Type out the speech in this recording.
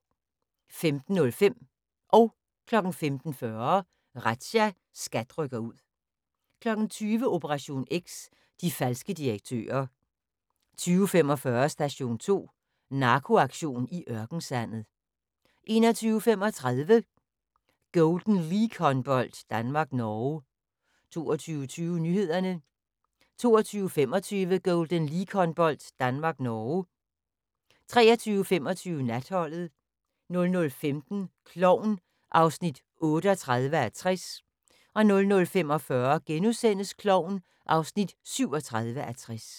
15:05: Razzia – SKAT rykker ud 15:40: Razzia – SKAT rykker ud 20:00: Operation X: De falske direktører (2:2) 20:45: Station 2: Narkoaktion i ørkensandet 21:35: Golden League-håndbold: Danmark-Norge 22:20: Nyhederne 22:25: Golden League-håndbold: Danmark-Norge 23:25: Natholdet 00:15: Klovn (38:60) 00:45: Klovn (37:60)*